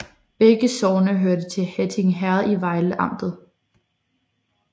Begge sogne hørte til Hatting Herred i Vejle Amt